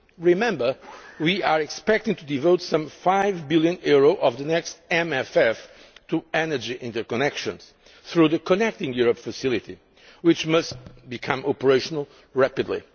Remember, we are expecting to devote some EUR 5 billion of the next MFF to energy interconnections, through the Connecting Europe Facility, which must become operational rapidly.